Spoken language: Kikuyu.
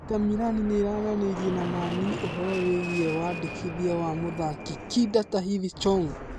inter Milan nĩararanĩria na Man-U ũhorō wĩgiĩ wandĩkithia wa mũthaki kinda Tahith Chong.